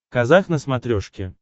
казах на смотрешке